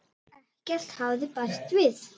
Ekkert hafði bæst við.